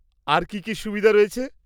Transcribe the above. অন্য আর কি কি সুবিধে রয়েছে?